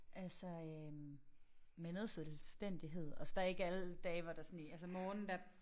Altså øh med noget selvstændighed og så der ikke alle dage hvor der sådan altså morgenen der